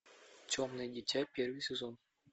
темное дитя первый сезон